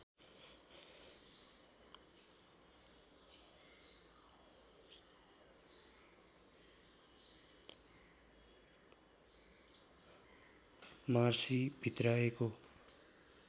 Marcy भित्र्याएको